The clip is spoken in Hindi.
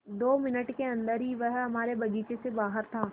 दो मिनट के अन्दर ही वह हमारे बगीचे से बाहर था